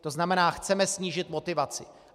To znamená, chceme snížit motivaci.